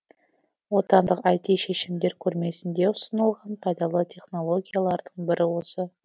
отандық іт шешімдер көрмесінде ұсынылған пайдалы технологиялардың бірі осы